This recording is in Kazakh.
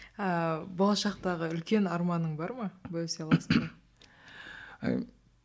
ыыы болашақтағы үлкен арманың бар ма бөлісе аласың ба